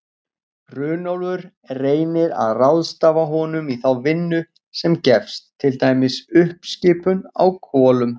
Runólfur reynir að ráðstafa honum í þá vinnu sem gefst, til dæmis uppskipun á kolum.